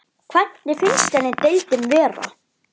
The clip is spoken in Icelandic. Hvernig finnst henni deildin vera?